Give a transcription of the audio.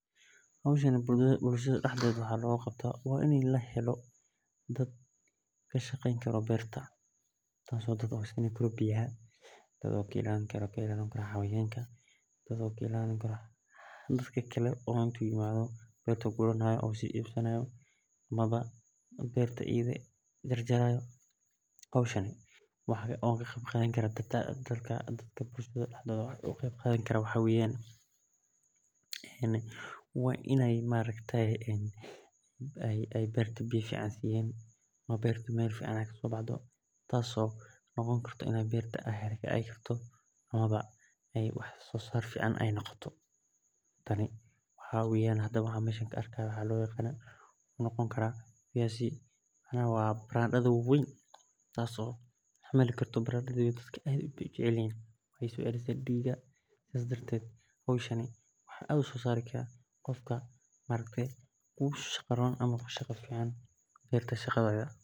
Hoshani bulshaada daxdedha waxaa loga qabtaa wa in lahelo dad kashaqeyni karo waxee oga qeb qadan karan waxaa waye in ee beerta karto wax sosar ee ledhay baradadha diga ayeye socelisa maxaa beeri karaa qofka ogu shaqadha Ron ee beerta sas waye sitha losameyo Mark waa sheyaal aad u wanagsan oo hubiyo cuntoyinka si sahlan lo heli karo markas nah daqliga ah bahida guriyaha.